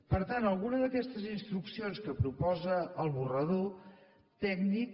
per tant alguna d’aquestes instruccions que proposa l’esborrany tècnic